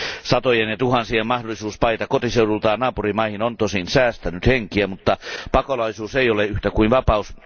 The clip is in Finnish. Satojen ja tuhansien mahdollisuus paeta kotiseudultaan naapurimaihin on tosin säästänyt henkiä, mutta pakolaisuus ei ole yhtä kuin vapaus.